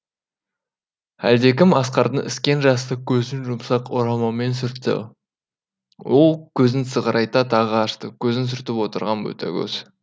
әлдекім асқардың іскен жасты көзін жұмсақ орамалмен сүртті ол көзін сығырайта тағы ашты көзін сүртіп отырған ботагөз